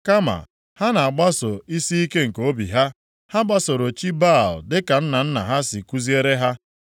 Kama, ha na-agbaso isiike nke obi ha, ha gbasoro chi Baal dịka nna nna ha si kuziere ha.”